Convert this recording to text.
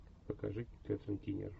покажи кэтрин кинер